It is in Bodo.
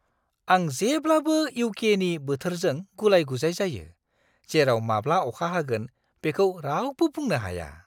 आं जेब्लाबो इउ.के.नि बोथोरजों गुलाय-गुजाय जायो, जेराव माब्ला अखा हागोन बेखौ रावबो बुंनो हाया!